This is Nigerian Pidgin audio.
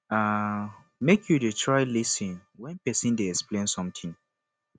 um make you dey try lis ten wen pesin dey explain sometin